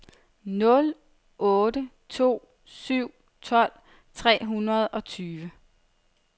nul otte to syv tolv tre hundrede og tyve